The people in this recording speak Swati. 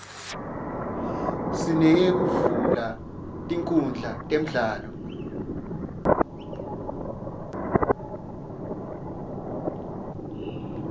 sineyekuvula tinkundla temidlalo